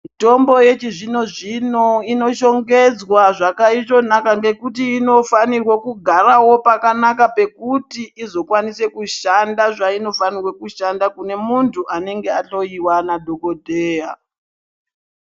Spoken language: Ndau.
Mitombo yechizvino zvino, inoshongedzwa zwaka itonaka ngekuti inofaniro kugarawo pakanaka pekuti izvokwanise kushanda zvainofanire kushanda kunemuntu anenge ahloyiwa nadhokodheya.